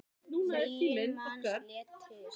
Níu manns létust.